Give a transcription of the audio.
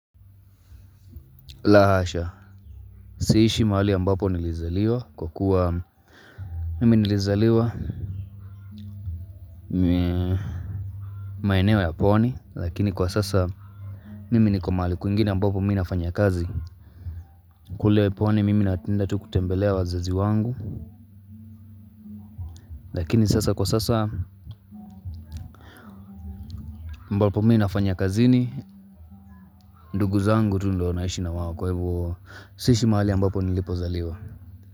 La hasha, siishi mahali ambapo nilizaliwa kwa kuwa mimi nilizaliwa maeneo ya pwani lakini kwa sasa mimi niko mahali kwingine ambapo mimi nafanya kazi. Kule pwani mimi napenda tu kutembelea wazazi wangu lakini sasa kwa sasa ambapo mimi ninafanya kazini ndugu zangu tu ndo naishi na wao kwa hivo siishi mahali ambapo nilipozaliwa.